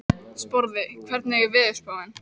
Sporði, hvernig er veðurspáin?